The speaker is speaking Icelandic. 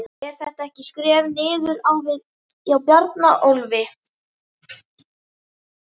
Er þetta ekki skref niður á við hjá Bjarnólfi?